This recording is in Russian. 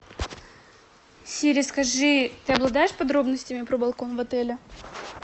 сири скажи ты обладаешь подробностями про балкон в отеле